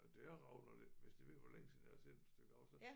At det er rav når det hvis det er ved at være længe siden jeg har set et stykke rav så